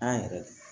An yɛrɛ